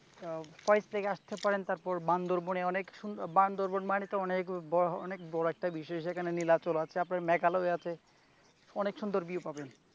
ফয়েজ থেকে আসতে পারেন তারপর বান্দরবানের অনেক সুন্দর বান্দরবান মানে অনেক বড় অনেক বড় একটা বিষয় যেখানে নীলাচল আছে মেঘ আলো হয়ে আছে অনেক সুন্দর view পাবেন ।